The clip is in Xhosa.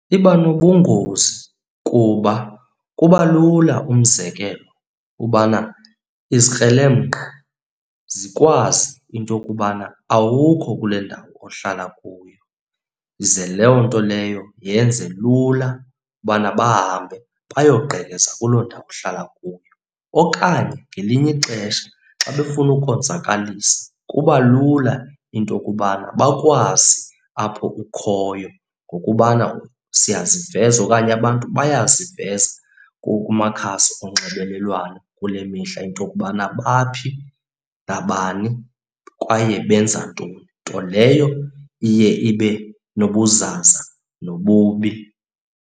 Iba nobungozi kuba kuba lula umzekelo ubana izikrelemnqa zikwazi into yokubana awukho kule ndawo uhlala kuyo, ze loo nto leyo yenze lula ubana bahambe bayogqekeza kuloo ndawo uhlala kuyo. Okanye ngelinye ixesha xa befuna ukuzonzakalisa kuba lula into yokubana bakwazi apho ukhoyo ngokubana siyaziveza okanye abantu bayaziveza kumakhasi onxibelelwano kule mihla into yokubana baphi, nabani kwaye benza ntoni, nto leyo iye ibe nobuzaza nobubi.